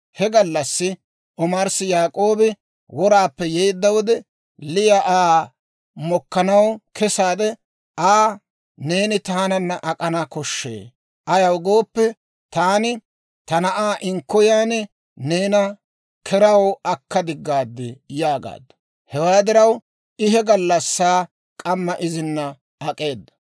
He gallassaa omarssi Yaak'oobi woraappe yeedda wode, Liya Aa mokkanaw kesaade Aa, «Neeni taananna ak'ana koshshee; ayaw gooppe, taani ta na'aa inkkoyiyaan neena keraw akka diggaad» yaagaaddu. Hewaa diraw I he gallassaa k'amma izina ak'eeda.